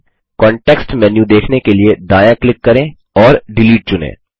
context menu देखने के लिए दायाँ क्लिक करें और डिलीट चुनें